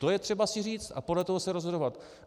To je třeba si říct a podle toho se rozhodovat.